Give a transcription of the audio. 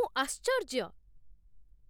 ମୁଁ ଆଶ୍ଚର୍ଯ୍ୟ!